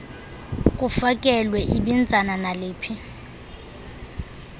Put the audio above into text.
kufakelwe ibinzana naluphi